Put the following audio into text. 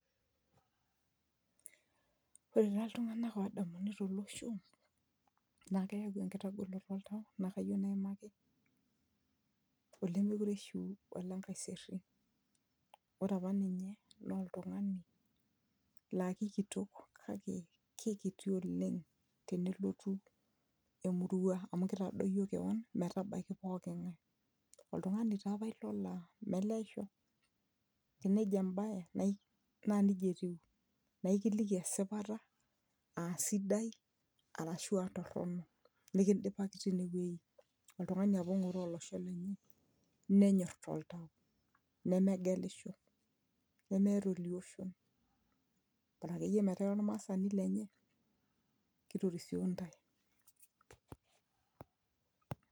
ore taa iltung'anak odamuni tolosho naa keyau enkitagoloto oltau naa kayieu naimaki olemekure ishiu ole nkaiserry ore apa ninye naa oltung'ani laa kikitok kake kikiti oleng tenelotu emurua amu kitadoyio kewon metabaiki poking'ae oltung'ani taa apa ilo laa meleisho enejo embaye naa nijia etiu naikiliki esipata asidai arashua torronok nikindipaki tine wueji oltung'ani apa ong'oroo olosho lenye nenyorr toltau nemegelisho nemeeta olioshon bora akeyie metaa ira olmaasani lenye kitorisio intae.